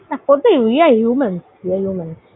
you are humans